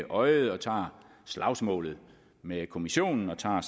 øje og tager slagsmålet med kommissionen og tager